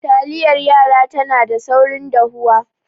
Taliyar yara tana da saurin dahuwa